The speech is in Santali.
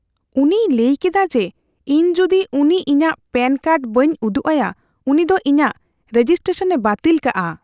ᱩᱱᱤᱭ ᱞᱟᱹᱭ ᱠᱮᱫᱟ ᱡᱮ, ᱤᱧ ᱡᱩᱫᱤ ᱩᱱᱤ ᱤᱧᱟᱹᱜ ᱯᱮᱱ ᱠᱟᱨᱰ ᱵᱟᱹᱧ ᱩᱫᱩᱜ ᱟᱭᱟ, ᱩᱱᱤ ᱫᱚ ᱤᱧᱟᱜ ᱨᱮᱡᱤᱥᱴᱨᱮᱥᱚᱱᱼᱮ ᱵᱟᱹᱛᱤᱞ ᱠᱟᱜᱼᱟ ᱾